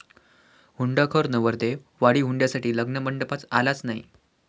हुंडाखोर' नवरदेव, वाढीव हुंड्यासाठी लग्नमंडपात आलाच नाही!